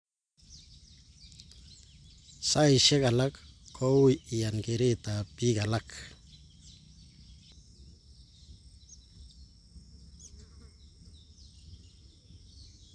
Saisyek alak ko ui iyan keret ap pik alak